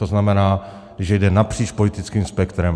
To znamená, že jde napříč politickým spektrem.